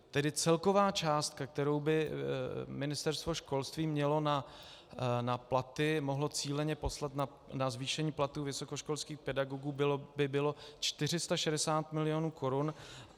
Tedy celková částka, kterou by Ministerstvo školství mělo na platy, mohlo cíleně poslat na zvýšení platů vysokoškolských pedagogů, by bylo 460 mil. korun.